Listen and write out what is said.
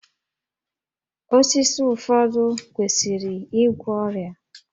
Osisi ụfọdụ kwesịrị igwọ ọrịa